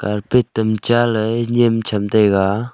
karpet tamcha ley nyem chem taiga.